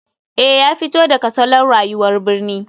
Eh ya fito daga salon rayuwar birni.